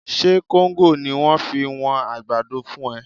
Ṣe kóńgò ni wọ́n fi wọn àgbàdo fún ẹ?